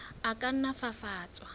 a ka nna a fafatswa